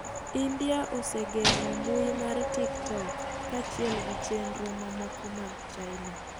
India osegeng'o mbui mar TikTok kaachiel gichenro mamoko mag China.